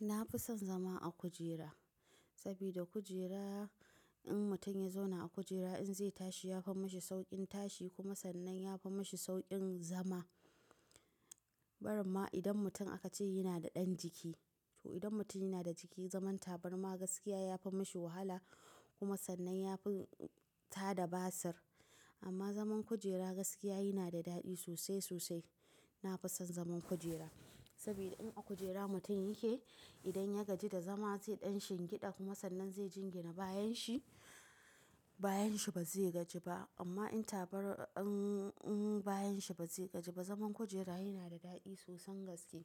Na fi son zama a kujera sabida kujera in mutum ya zauna a kujera in zai tashi ya fi mashi sauƙin tashi kuma sannan ya fi mashi sauƙin zama. Barinma idan mutum aka ce yana da ɗan jiki, to idan mutum yana da jiki zaman tabarma gaskiya ya fi mashi wahala kuma sannan ya fi tada basir. Amma zaman kujera gaskiya yana da daɗi sosai sosai. Na fi son zaman kujera saboda in a kujera mutum yake idan ya gaji da zama zai ɗan shingeɗa kuma sannan zai jingina bayan shi, bayan shi ba zai gaji ba. Amma in tabar in, in bayan shi ba zai gaji ba. Zaman kujera yana da daɗi sosan gaske.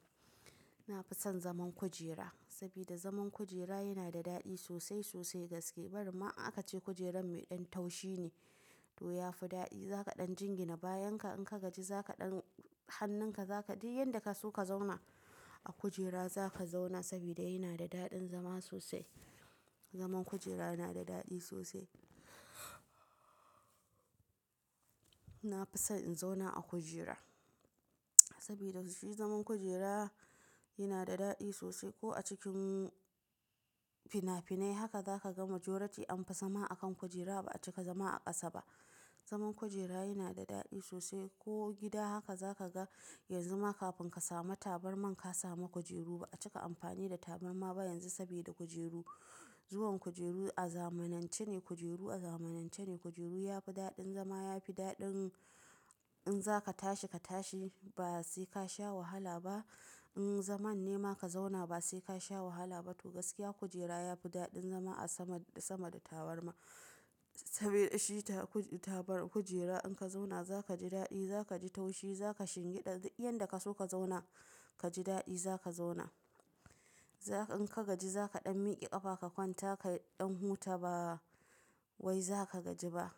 Na fi son zaman kujera sabida zaman kujera yana da daɗi sosai sosai gaske. Barinma aka ce kujerar mai ɗan taushi ne to ya fi daɗi. Za ka ɗan jingina bayan ka in ka gaji za ka ɗan hannun ka za ka je yanda ka so ka zauna a kujera za ka zauna sabida yana da daɗin zama sosai. Zaman kujera yana da daɗi sosai. Na fi son in zauna a kujera sabida shi zaman kujera yana da daɗi sosai ko a cikin fina-finai haka za ka gama jorati an fi zama a kan kujera ba a cika zama a ƙasa ba. Zaman kujera yana da daɗi sosai ko gida haka za ka ga yanzu ma kafin ka sami tabarma ka sami kujeru ba a cika amfani da tabarma ba yanzu sabida kujeru. Zuwan kujeru a zamanance ne, kujeru a zamanance ne. Kujeru ya fi daɗin zama ya fi daɗin in za ka tashi ka tashi ba sai ka sha wahala ba. In zaman nema ka zauna ba sai ka sha wahala ba. To gaskiya kujera ya fi daɗin zama a sama da, sama da tabarma saboda shi tabar kujera in ka zauna za ka ji daɗi, za ka ji taushi, za ka shingiɗa yanda ka so ka zauna ka ji daɗi za ka zauna. Za ka in ka gaji za ka ɗan miƙe ƙafa ka kwanta ka ɗan huta ba wai za ka gaji ba.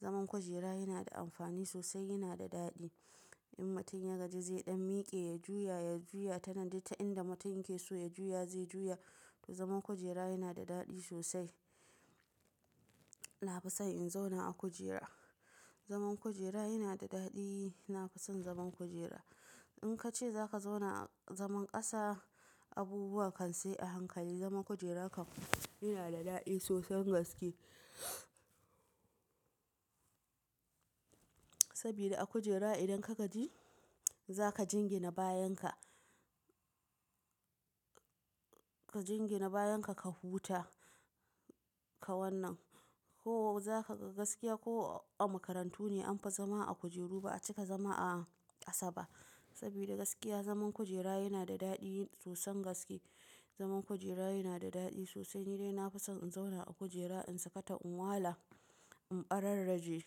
Zaman kujera yana da amfani sosai, yana da daɗi. In mutum ya gaji zai ɗan miƙe ya juya, ya juya ta nan, duk ta inda mutum yake so ya juya zai juya. To zaman kujera yana da daɗi sosai. Na fi son in zauna a kujera. Zaman kujera yana da daɗi. Na fi son zaman kujera. In ka ce za ka zauna zaman ƙasa, abubuwa kan sai a hankali. Zaman kujera kan yana da daɗi sosan gaske. Sabida a kujera idan ka gaji za ka jingina bayan ka. Ka jingina bayan ka, ka huta ka wannan ko za ka ga gaskiya ko a makarantu ne an fi zama a kujeru ba a cika zama a ƙasa ba sabida gaskiya zaman kujera yana da daɗi sosan gaske. Zaman kujera yana da daɗi sosai. Ni dai na fi son in zauna a kujera in sakata, in wala, in ɓararraje.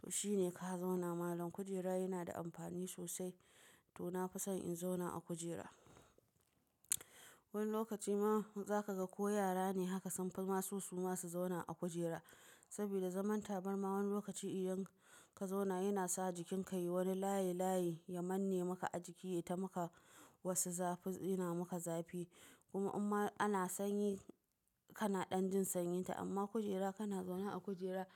To shi ne ka zauna malam. Kujera yana da amfani sosai to na fi son in zauna a kujera. Wani lokaci ma za ka ga ko yara ne haka sunfi maso su ma su zauna a kujera sabida zaman tabarma wani lokaci idan ka zauna yana sa jikinka yi wani layi layi, ya manne maka a jiki, ya ta maka wasu zafi, yana maka zafi. Kuma imma ana sanyi kana ɗan jin sanyin ta amma kujera kana zauna a kujera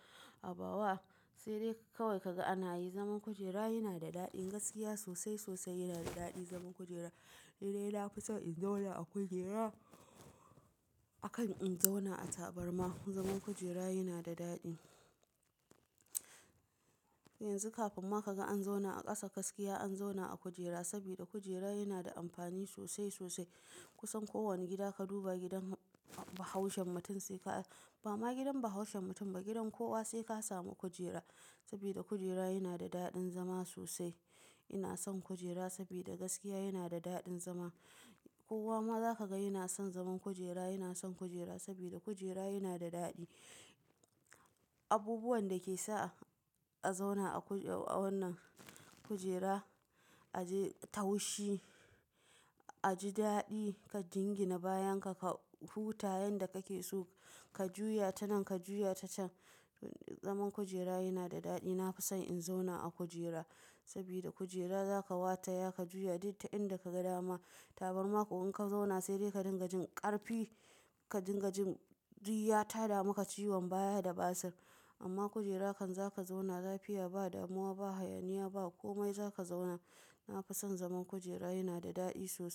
ha bawa sai dai kawai ka ga ana yi. Zaman kujera yana da daɗi gaskiya sosai sosai yana da daɗi zaman kujera. Ni dai na fi son in zauna a kujera akan in zauna a tabarma. Zaman kujera yana da daɗi. Yanzu kafin ma ka ga an zauna a ƙasa gaskiya an zauna a kujera saboda kujera yana da amfani sosai sosai. Kusan kowane gida ka duba gidan bahaushen mutum sai ka, ba ma gidan bahaushen mutum ba gidan kowa sai ka samu kujera saboda kujera yana da daɗin zama sosai. Ina son kujera saboda gaskiya yana da daɗin zama. Kowa ma za ka ga yana son zaman kujera, yana son kujera sabida kujera yana da daɗi. Abubuwan da ke sa a zauna a wannan kujera, a ji taushi, a ji daɗi, ka jingina bayan ka, ka huta yanda kake so, ka juya ta nan, ka juya ta can. Zaman kujera yana da daɗi. Na fi son in zauna a kujera sabida kujera za ka wata ya ka juya duk ta inda ka ga dama. Tabarma ko in ka zauna sai dai ka dinga jin ƙarfi, ka dinga jin diya ta dama ka ciwon baya da basir. Amma kujera kan za ka zauna lafiya ba, damuwa ba, hayaniya ba. Komai za ka zauna. Na fi son zaman kujera yana da daɗi sosai.